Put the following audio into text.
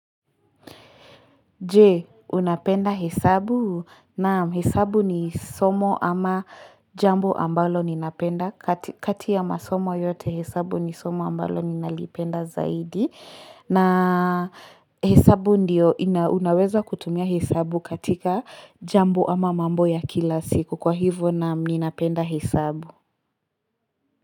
Je, unapenda hesabu? Naam, hesabu ni somo ama jambo ambalo ninapenda. Kati ya masomo yote hesabu ni somo ambalo ninalipenda zaidi. Na hesabu ndiyo, unaweza kutumia hesabu katika jambo ama mambo ya kila siku. Kwa hivyo naam, ninapenda hesabu.